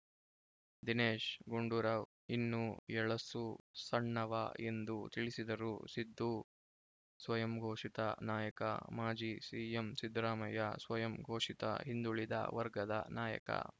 ದಿನೇಶ್‌ ಗುಂಡೂರಾವ್‌ ಇನ್ನೂ ಎಳಸು ಸಣ್ಣವ ಎಂದು ತಿಳಿಸಿದರು ಸಿದ್ದು ಸ್ವಯಂಘೋಷಿತ ನಾಯಕ ಮಾಜಿ ಸಿಎಂ ಸಿದ್ದರಾಮಯ್ಯ ಸ್ವಯಂ ಘೋಷಿತ ಹಿಂದುಳಿದ ವರ್ಗದ ನಾಯಕ